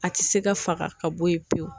A tɛ se ka faga ka bɔ yen pewu.